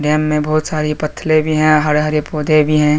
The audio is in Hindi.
डैम में बहुत सारे पत्थले भी है हरे हरे पौधे भी है।